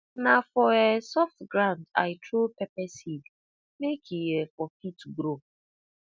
na for um soft ground i throw pepper seed make e um for fit grow